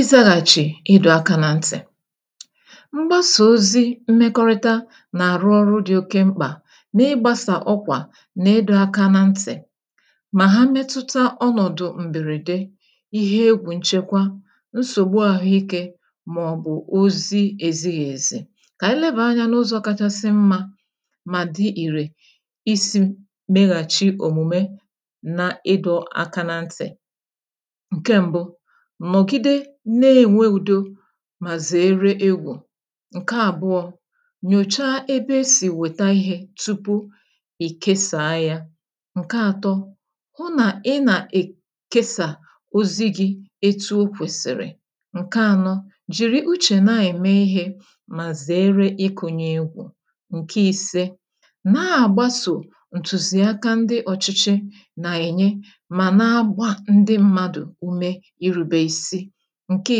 izaghàchì ịdụ̇ aka na ntì mgbasà ozi mmekọrịta nà-àrụ ọrụ dị oke mkpà n’ịgbȧsà ọkwà n’edo aka nà ntì mà ha metuta ọnọ̀dụ̀ m̀bèrède ihe egwù nchekwa nsògbu àhụike màọbụ̀ ozi èzighì èzi kà ànyị lebà anyȧ n’ụzọ̇ kachasị mmȧ mà dị ìrè isi meghàchi òmùme na ịdọ̇ aka nà ntì mà zèere egwù ǹke àbụọ nyòcha ebe esì wèta ihė tupu ì kesàa ya ǹke ȧtọ hụ nà ị nà è kesà ozighi̇ etu o kwèsìrì ǹke ȧnọ jìri uchè na-ème ihė mà zère ịkụ̇nye egwù ǹke i̇se na-àgbasò ǹtùzìaka ndị ọ̇chịchị nà-ènye mà na-agba ndị mmadụ̀ ǹke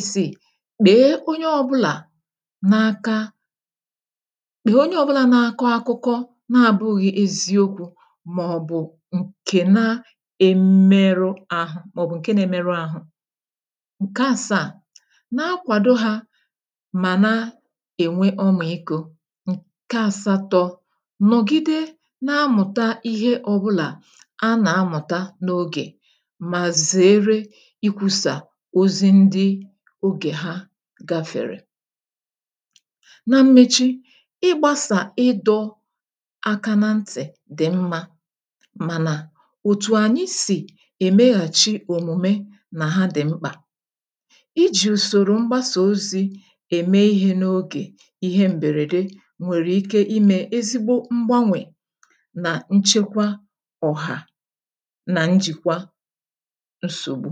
i̇sii bèè onye ọ̇bụlà n’aka bụ̀ onye ọ̇bụlà na-akọ̇ akụkọ na-abụ̇ghị̇ eziokwu̇ mà ọ̀ bụ̀ ǹkè na-emerụ ahụ̇ mà ọ̀ bụ̀ ǹke na-emerụ ahụ̇ ǹke àsaà na-akwàdo hȧ mà na-ènwe ọmịikȯ ǹke àsatọ̇ nọ̀gide na-amụ̀ta ihe ọ̇bụlà a nà-amụ̀ta n’ogè mà zère ogè ha gafèrè na mmechi ị gbasà ịdọ̇ aka na ntị̀ dị̀ mmȧ mànà òtù ànyị sì èmeghàchi òmùme nà ha dị̀ mkpà ijì ùsòrò mgbasà ozi̇ ème ihe n’ogè ihe m̀bèrède nwèrè ike imè ezigbo mgbanwè nà nchekwa ọ̀hà nà njìkwa nsògbu